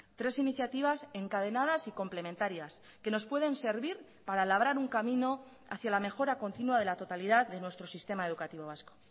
tres iniciativas encadenadas y complementarias que nos pueden servir para labrar un camino hacia la mejora continua de la totalidad de nuestro sistema educativo vasco